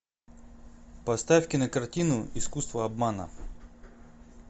поставь кинокартину искусство обмана